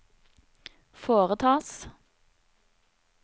foretas